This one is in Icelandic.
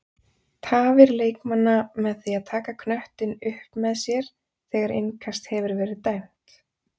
Tafir leikmanna með því að taka knöttinn upp með sér þegar innkast hefur verið dæmt?